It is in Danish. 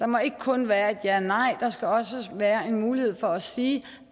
må ikke kun være et ja eller nej der skal også være mulighed for at sige